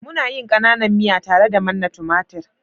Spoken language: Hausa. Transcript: muna yin kananan miya tare da manna tumatir